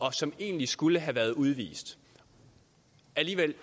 og som egentlig skulle have været udvist alligevel